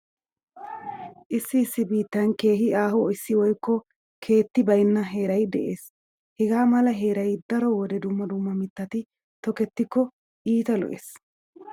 Issi issi biittan keehi aaho asi woykko keetti baynna heeray de'ees. Hegaa mala heeray daro wode dumma dumma mittati tokettikko iita lo'ees.